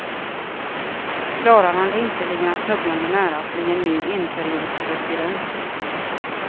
Klarar han det inte ligger han snubblande nära att bli en ny enperiodspresident.